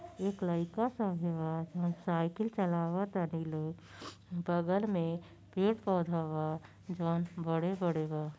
एक लईका साइकिल चलाव तानी लो। बगल में पेड़-पौधा बा जौन बड़े-बड़े बा।